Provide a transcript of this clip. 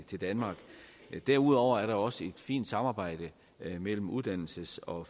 danmark derudover er der også et fint samarbejde mellem uddannelses og